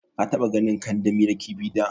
ka taɓa ganin kandami na kifi da?